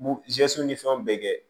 Muzeso ni fɛnw bɛɛ kɛ